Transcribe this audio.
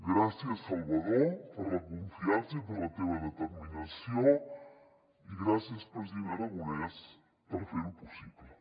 gràcies salvador per la confiança i per la teva determinació i gràcies president aragonès per fer ho possible